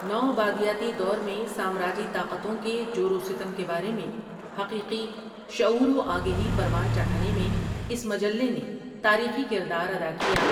نو آبادیاتی دور میں سامراجی طاقتوں کے جورو ستم کے بارے میں حقیقی شعور و آ گہی پروان چڑھانے میں اس مجلے نے تاریخی کردار ادا کیا ۔